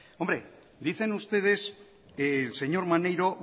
hombre dicen ustedes el señor maneiro